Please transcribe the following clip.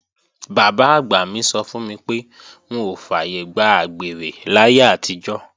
Bàbá-àgbà mi sọ fún mi pé wọn ò fàyègbà àgbèrè láyé àtijọ́